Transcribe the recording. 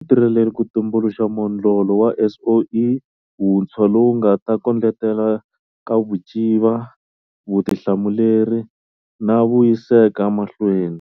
Tirheleni ku tumbuluxa modlolo wa SOE wuntshwa lowu wu nga ta kondletela nkavuciva, vutihlamuleri na vuyiseka mahlweni.